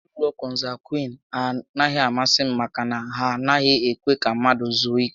Ezinaụlọ kọnsangwiin a naghị amasị m maka na ha anaghị ekwe ka mmadụ zuo ike